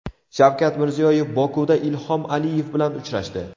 Shavkat Mirziyoyev Bokuda Ilhom Aliyev bilan uchrashdi.